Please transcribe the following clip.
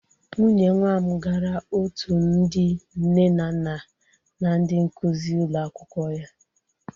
Nwunye nwa m gara otu ndị nne na nna na ndị nkuzi ụlọ akwụkwọ ya.